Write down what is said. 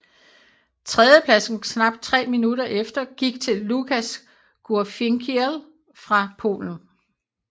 Tredjepladsen knap tre minutter efter gik til Lukas Gurfinkiel fra Polen